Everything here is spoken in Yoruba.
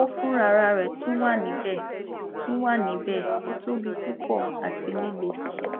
koko fun rararẹ tun wa nibẹ tun wa nibẹ o tobi pupọ ati lile